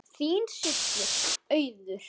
Þín systir, Auður.